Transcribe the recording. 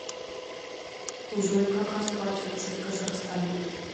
джой как расплачиваться в казахстане